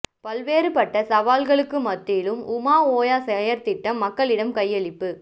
பல்வேறுபட்ட சவால்களுக்கு மத்தியிலும் உமா ஓயா செயற்திட்டம் மக்களிடம் கையளிப்பு